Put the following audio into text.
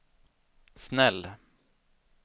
snäll